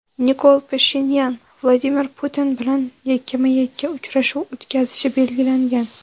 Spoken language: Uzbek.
Nikol Pashinyan Vladimir Putin bilan yakkama-yakka uchrashuv o‘tkazishi belgilangan.